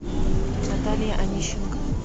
наталья онищенко